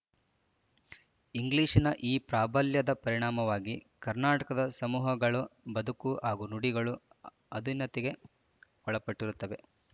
ಇಂಗ್ಲೀಷಿನ ಈ ಪ್ರಾಬಲ್ಯದ ಪರಿಣಾಮವಾಗಿ ಕರ್ನಾಟಕದ ಸಮೂಹಗಳ ಬದುಕು ಹಾಗೂ ನುಡಿಗಳು ಅಧೀನತೆಗೆ ಒಳಪಟ್ಟಿರುತ್ತವೆ